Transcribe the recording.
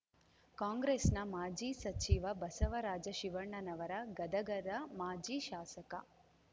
ಕಾಂಗ್ರೆಸ್ ನ ಮಾಜಿ ಸಚಿವ ಬಸವರಾಜ ಶಿವಣ್ಣನವರ ಗದಗದ ಮಾಜಿ ಶಾಸಕ